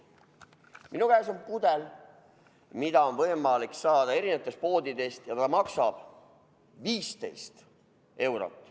Minu käes on pudel, mida on võimalik saada erinevatest poodidest, ja see maksab 15 eurot.